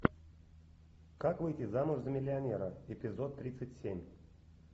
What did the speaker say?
как выйти замуж за миллионера эпизод тридцать семь